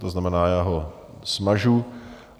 To znamená, já ho smažu.